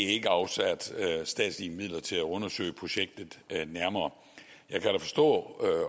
er ikke afsat statslige midler til at undersøge projektet nærmere jeg kan da forstå